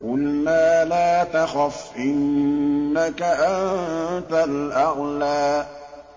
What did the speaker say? قُلْنَا لَا تَخَفْ إِنَّكَ أَنتَ الْأَعْلَىٰ